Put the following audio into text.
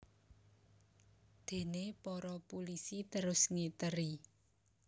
Déné para pulisi terus ngiteri